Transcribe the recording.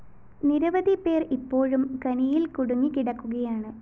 നിരവധി പേര്‍ ഇപ്പോഴും ഖനിയില്‍ കുടുങ്ങി കിടക്കുകയാണ്